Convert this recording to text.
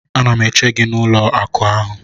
Ana m eche gị n'ụlọ akụ ahụ